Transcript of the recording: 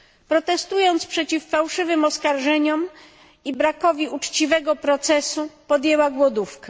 Protestując przeciw fałszywym oskarżeniom i brakowi uczciwego procesu, podjęła głodówkę.